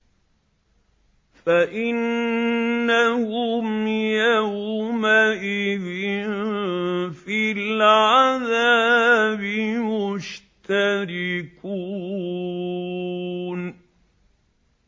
فَإِنَّهُمْ يَوْمَئِذٍ فِي الْعَذَابِ مُشْتَرِكُونَ